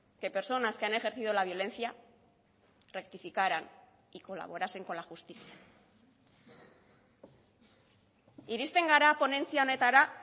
que personas que han ejercido la violencia rectificaran y colaborasen con la justicia irizten gara ponentzia honetara